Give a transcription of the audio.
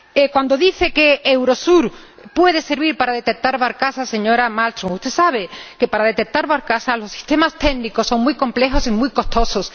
Cuando dice que Eurosur puede servir para detectar barcazas, señora Malmström, usted debe saber que para detectar barcazas los sistemas técnicos son muy complejos y muy costosos.